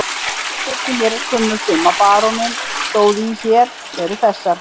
Skuldir sem mér er kunnugt um að baróninn stóð í hér, eru þessar